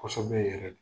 Kosɛbɛ yɛrɛ de